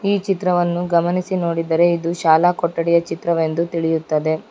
ಈ ಚಿತ್ರವನ್ನು ಗಮನಿಸಿ ನೋಡಿದರೆ ಇದು ಶಾಲಾ ಕೊಟ್ಟಡಿಯ ಚಿತ್ರವೆಂದು ತಿಳಿಯುತ್ತದೆ.